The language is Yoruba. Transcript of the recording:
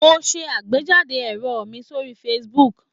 Mo ń ṣẹ àgbéjáde èrò mi sórí Facebook.